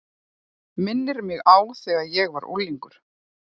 Minnir mig á þegar ég var unglingur.